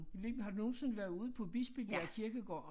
Ved ikke men har du nogensinde været ude på Bispebjerg Kirkegård